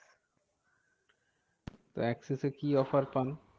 তো এক্সিসে কি offer পান?